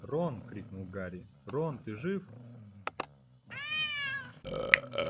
рон крикнул гарри рон ты жив